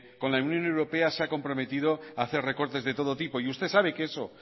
con la unión europea se ha comprometido hacer recortes de todo tipo y usted sabe que eso